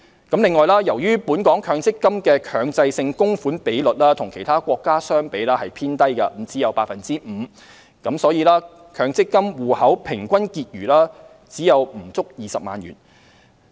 此外，由於本港強積金的強制性供款比率與其他國家相比偏低，只有 5%， 因此強積金戶口平均結餘只有不足20萬元。